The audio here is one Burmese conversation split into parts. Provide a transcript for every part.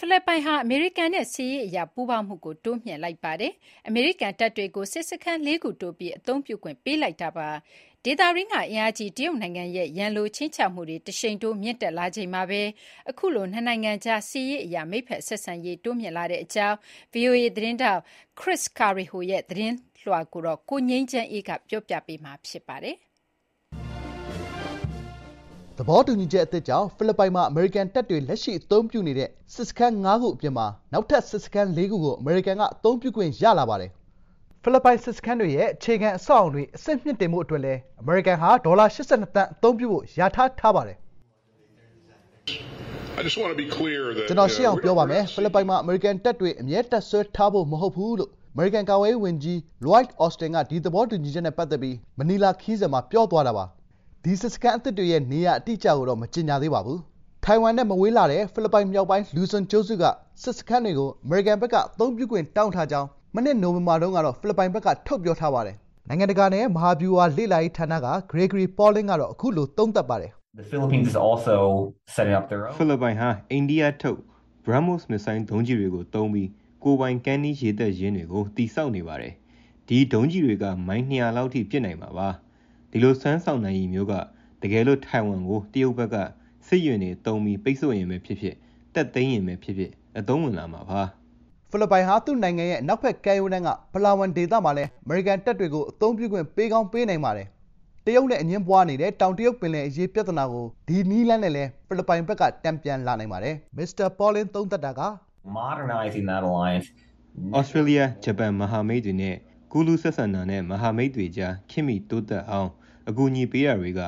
ဖိလစ်ပိုင်ဟာ အမေရိကန်နဲ့ စစ်ရေးအရပူးပေါင်းမှု တိုးမြှင့်လိုက်ပါတယ်။ အမေရိကန်တပ်တွကို စစ်စခန်း ၄ ခု တိုးပြီး အသုံးပြုခွင့်ပေးလိုက်တာပါ။ ဒေသတွင်းက အင်အားကြီးတရုတ်နိုင်ငံရဲ့ ရန်လိုခြိမ်းခြောက်မှုတွေ တရှိန်ထိုးမြင့်တက်လာချိန်မှာပဲ အခုလို နှစ်နိုင်ငံကြား စစ်ရေးအရ မိတ်ဖက်ဆက်ဆံရေးတိုးမြင့်လာတဲ့အကြောင်း ဗီအိုအေ သတင်းထောက် VOA’s Chris Casquejo ရဲ့ သတင်းလွှာကို ကိုငြိမ်းချမ်းအေးက တင်ပြပေးထားပါတယ်။ သဘောတူညီချက်အသစ်ကြောင့် ဖိလစ်ပိုင်မှာ အမေရိကန်တပ်တွေ လက်ရှိအသုံးပြုနေတဲ့စစ်စခန်း ၅ ခု အပြင်မှာ နောက်ထပ် စစ်စခန်း ၄ ခု ကို အမေရိကန်က အသုံးပြုခွင့်ရလာပါတယ်။ “ကျနော် ရှင်းအောင် ပြောပါမယ်။ ဖိလစ်ပိုင်မှာ အမေရိကန်တပ်တွေ အမြဲ တပ်စွဲထားဖို့ မဟုတ်ပါဘူး။” လို့ အမေရိကန် ကာကွယ်ရေးဝန်ကြီး အမေရိကန်ကာကွယ်ရေးဝန်ကြီး လွိုက် အော်စတင်က ဒီသဘောတူချက်နဲ့ပတ်သက်ပြီး မနီလာခရီးစဉ်မှာ ပြောသွားတာပါ။ ဒီစစ်စခန်းအသစ်တွေရဲ့ နေရာအတိအကျကိုတော့ မကြေညာသေးပါဘူး။ ထိုင်ဝမ်နဲ့မဝေးလှတဲ့ ဖိလစ်ပိုင်မြောက်ပိုင်း လူဇွန် (Luzon) ကျွန်းစုက စစ်စခန်းတွေကို အမေရိကန်ဘက်က အသုံးပြုခွင့်တောင်းထားကြောင်း ၂၀၂၂ နှစ် နိုဝင်ဘာတုန်းက ဖိလစ်ပိုင်ဘက်က ထုတ်ပြောထားပါတယ်။ နိုင်ငံတကာနဲ့ မဟာဗျူဟာလေ့လာရေးဌာန Center for Strategic and International Studies က ဂရေဂရီပေါ်လင်းက အခုလို သုံးသပ်ပါတယ်။ "ဖိလစ်ပိုင်ဟာ အိန္ဒိယထုတ် BrahMos (ဘရားမို့စ်) မစ်ဇိုင်းဒုံးကျည်တွေကိုသုံးပြီး ကိုယ်ပိုင် ကမ်းနီးရေတပ်ရင်းတွေကို တည်ဆောက်နေပါတယ်။ ဒီဒုံးကျည်တွေက မိုင် ၂၀၀ လောက်အထိ ပစ်နိုင်မှာပါ။ ဒီလို စွမ်းဆောင်နိုင်ရည်မျိုးက တကယ်လို့ ထိုင်ဝမ်ကို တရုတ်ဘက်က စစ်ယာဉ်တွေသုံးပြီး ပိတ်ဆို့ရင်ပဲဖြစ်ဖြစ်၊ တက်သိမ်းရင်ပဲဖြစ်ဖြစ် အသုံးဝင်လာမှာပါ။" ဖိလစ်ပိုင်ဟာ သူ့နိုင်ငံရဲ့အနောက်ဘက်ကမ်းရိုးတန်းက ပလားဝမ် (Palawan) ဒေသမှာလည်း အမေရိကန်တပ်တွေကို အသုံးပြခွင့် ပေးကောင်း ပေးနိုင်ပါတယ်။ တရုတ်နဲ့အငြင်းပွားနေတဲ့ တောင်တရုတ်ပင်လယ်အရေး ပြဿနာကို ဒီနည်းလမ်းနဲ့လည်း ဖိလစ်ပိုင်ဘက်က တန်ပြန်လာနိုင်ပါတယ်။ “သြစတြေးလျ၊ ဂျပန်မဟာမိတ်တွေနဲ့ ကွန်ရက်ချိန်ဆက် ကူးလူးဆက်ဆံတာနဲ့ မဟာမိတ်တွေကြား ခေတ်မီတိုးတက်အောင် အကူအညီပေးတာတွေက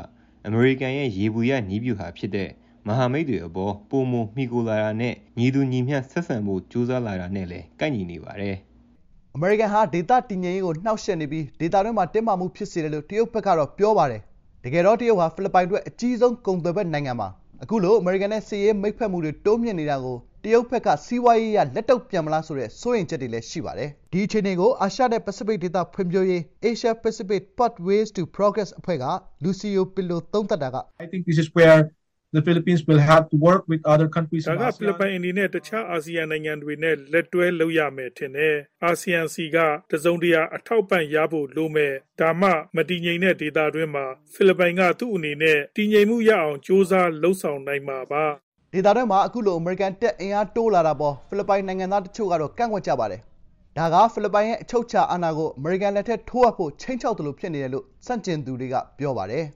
အမေရိကန်ရဲ့ ယေဘုယျနည်းဗျူဟာဖြစ်တဲ့ မဟာမိတ်တွေအပေါ် ပိုမှီခိုလာမှုနဲ့ ညီတူညီမျှ ဆက်ဆံဖို့ ကြိုးစားလာတာနဲ့လည်း ကိုက်ညီနေပါတယ်။” အမေရိကန်ဟာ ဒေသတည်ငြိမ်ရေးကို နှောင့်ယှက်နေပြီး ဒေသတွင်းမှာ တင်းမာမှုတွေဖြစ်စေတယ်လို့ တရုတ်ဘက်ကတော့ ပြောပါတယ်။ တကယ်တော့ တရုတ်ဟာ ဖိလစ်ပိုင်အတွက် အကြီးဆုံးကုန်သွယ်ဖက်နိုင်ငံပါ။ အခုလို အမေရိကန်နဲ့ စစ်ရေးမိတ်ဖက်မှုတွေ တိုးမြှင့်နေတာကို တရုတ်ဘက်က စီးပွားရေးအရ လက်တုံ့ပြန်မလားဆိုတဲ့ စိုးရိမ်ချက်တွေလည်း ရှိပါတယ်။ ဒီအခြေအနေကို အာရှနဲ့ပစိဖိတ်ဒေသဖွံ့ဖြိုးရေး (Asia Pacific Pathways to Progress ) အဖွဲ့က လူစီယိုပစ်လိုက အခုလို သုံးသပ်ပါတယ်။ “ဒါက ဖိလစ်ပိုင်အနေနဲ့ တခြား အာဆီယံနိုင်ငံတွေနဲ့ လက်တွဲလုပ်ရမယ် ထင်တယ်။ အာဆီယံဆီက တစုံတရာ အထောက်အပံ့ရဖို့ လိုမယ်။ ဒါမှ မတည်ငြိမ်တဲ့ဒေသတွင်းမှာ ဖိလစ်ပိုင်က သူ့အနေနဲ့တည်ငြိမ်မှုရအောင် ကြိုးစားလုပ်ဆောင်နိုင်မှာပါ။” ဒေသတွင်းမှာ အခုလို အမေရိကန်တပ် အင်အားတိုးလာတာအပေါ် ဖိလစ်ပိုင်နိုင်ငံသားတချို့ကတော့ ကန့်ကွက်ကြပါတယ်။ ဒါက ဖိလစ်ပိုင်ရဲ့အချုပ်အခြာအာဏာကို အမေရိကန်လက်ထဲ ထိုးအပ်ဖို့ ခြိမ်းခြောက်သလို ဖြစ်နေတယ်လို့ ဆန့်ကျင်သူတွေက ပြောပါတယ်